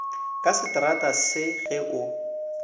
ka setrata se ge o